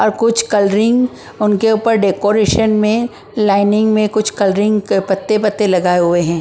और कुछ कलरिंग उनके ऊपर डेकोरेशन में लाइनिंग में कुछ कलरिंग के पत्ते पत्ते लगाए हुए हैं ।